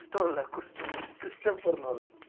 குஸ்டோம் இல்ல Chris~ Christopher Nolan